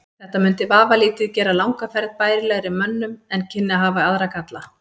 Þetta mundi vafalítið gera langa ferð bærilegri mönnum en kynni að hafa aðra galla.